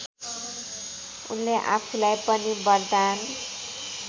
उनले आफूलाई पनि वरदान